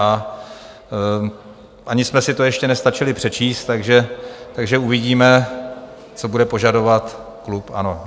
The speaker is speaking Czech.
A ani jsme si to ještě nestačili přečíst, takže uvidíme, co bude požadovat klub ANO.